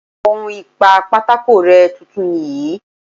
On ìpa pátákó rẹ́ tuntun nìyí.